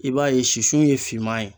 I b'a ye sisun ye finman ye